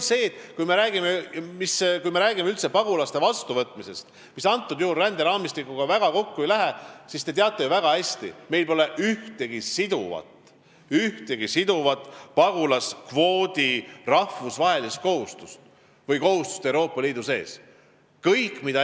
Kui me räägime pagulaste vastuvõtmisest, mis ränderaamistiku teemaga väga kokku ei lähe, siis te teate ju väga hästi, et meil pole ühtegi siduvat rahvusvahelist kohustust pagulaskvoodi kehtestamiseks, ka Euroopa Liidu sees mitte.